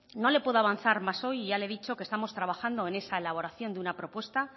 no le puedo avanzar más hoy ya le he dicho que estamos trabajando en esa elaboración de una propuesta